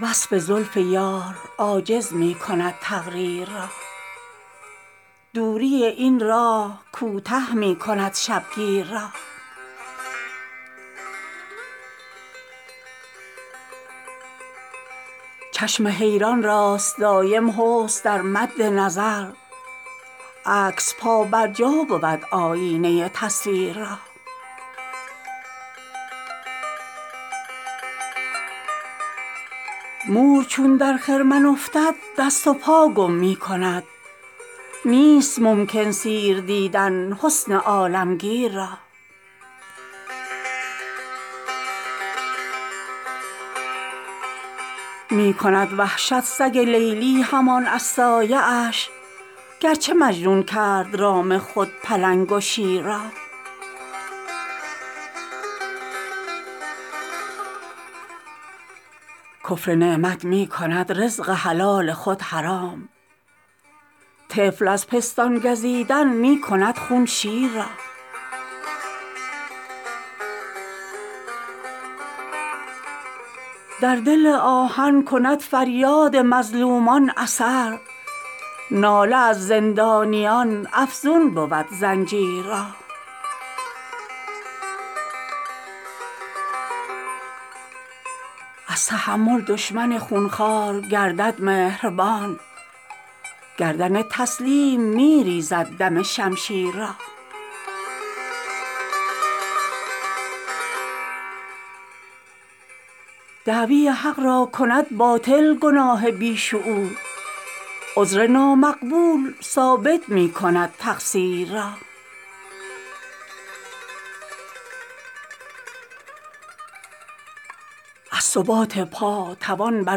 وصف زلف یار عاجز می کند تقریر را دوری این راه کوته می کند شبگیر را چشم حیران راست دایم حسن در مد نظر عکس پا بر جا بود آیینه تصویر را مور چون در خرمن افتد دست و پا گم می کند نیست ممکن سیر دیدن حسن عالمگیر را می کند وحشت سگ لیلی همان از سایه اش گر چه مجنون کرد رام خود پلنگ و شیر را کفر نعمت می کند رزق حلال خود حرام طفل از پستان گزیدن می کند خون شیر را در دل آهن کند فریاد مظلومان اثر ناله از زندانیان افزون بود زنجیر را از تحمل دشمن خونخوار گردد مهربان گردن تسلیم می ریزد دم شمشیر را دعوی حق را کند باطل گناه بی شعور عذر نامقبول ثابت می کند تقصیر را از ثبات پا توان بر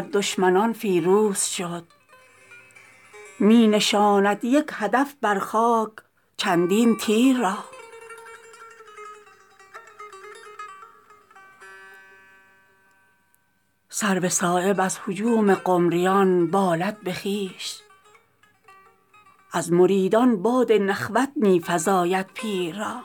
دشمنان فیروز شد می نشاند یک هدف بر خاک چندین تیر را سرو صایب از هجوم قمریان بالد به خویش از مریدان باد نخوت می فزاید پیر را